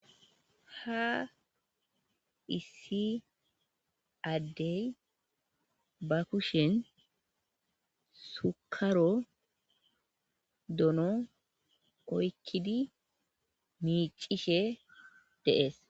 ha issi addey ba kushen sukaro dono koykkidi miicishe deees